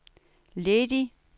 ledig